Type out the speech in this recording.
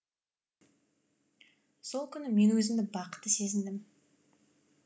сол күні мен өзімді бақытты сезіндім